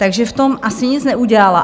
Takže v tom asi nic neudělala.